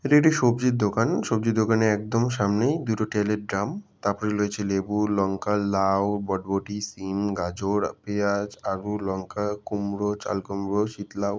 এটি একটি সবজির দোকান। সবজির দোকানের একদম সামনে দুটি তেলের ড্রাম । তারপরে রয়েছে লেবু লঙ্কা লাউ বরবটি সিম গাজর পেঁয়াজ আলু লঙ্কা কুমড়া চাল কুমড়া শীত লাউ।